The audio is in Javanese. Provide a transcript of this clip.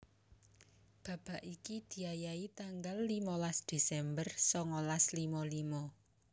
Babak iki diayahi tanggal limolas Desember songolas limo limo